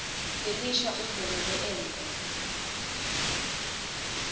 lelisha udvwebele emva